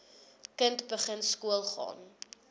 kind begin skoolgaan